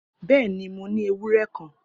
Bẹẹni, mo ni ewurẹ kan.